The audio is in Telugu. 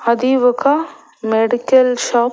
అది ఒక మెడికెల్ షాప్ .